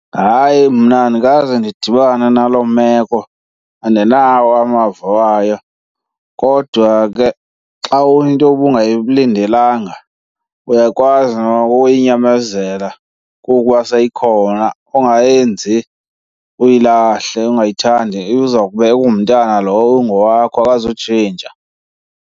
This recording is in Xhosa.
Hayi, mna andikaze ndidibane naloo meko, andinawo amava wayo. Kodwa ke xa into ubungayilindelanga uya kwazi nokuyinyamezela kuba seyikhona ungayenzi uyilahle, ungayithandi. Iza kube ingumntana lowo ingowakho, akuzutshintsha.